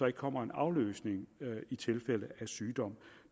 ikke kommer en afløser i tilfælde af sygdom